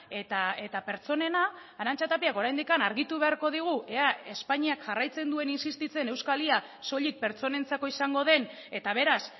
eta pertsonena arantxa tapiak oraindik argitu beharko digu ea espainiak jarraitzen duen insistitzen euskal y a soilik pertsonentzako izango den eta beraz